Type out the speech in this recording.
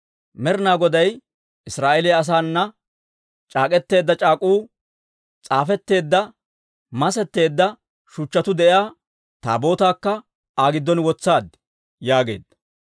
Med'inaa Goday Israa'eeliyaa asaana c'aak'k'eteedda c'aak'uu s'aafetteedda masetteedda shuchchatuu de'iyaa Taabootaakka Aa giddon wotsaad» yaageedda.